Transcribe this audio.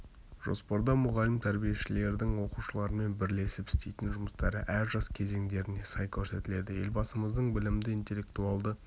жоспарда мұғалім тәрбиешілердің оқушылармен бірлесіп істейтін жұмыстары әр жас кезеңдеріне сай көрсетіледі елбасымыздың білімді интеллектуалды